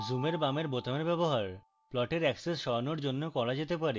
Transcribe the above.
জুমের বামের বোতামের ব্যবহার প্লটের axes সরানোর জন্য করা যেতে পারে